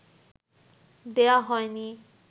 দেয়া হয়নি